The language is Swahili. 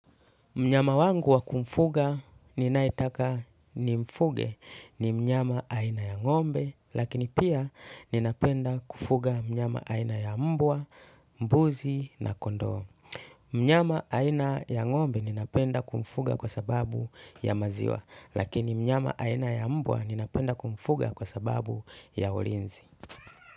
Mnyama wangu wa kumfuga ninayetaka ni mfuge ni mnyama aina ya ng'ombe, lakini pia ninapenda kufuga mnyama aina ya mbwa, mbuzi na kondoo. Mnyama aina ya ngombe ninapenda kumfuga kwa sababu ya maziwa, lakini mnyama aina ya mbwa ninapenda kumfuga kwa sababu ya olinzi.